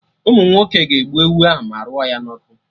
Ụmụnwoke ga-egbu ewu ahụ ma rụọ ya na ọkụ